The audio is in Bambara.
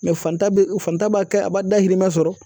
faantan bɛ faantan b'a kɛ a b'a dahirimɛ sɔrɔ